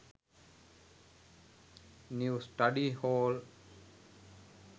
new study hall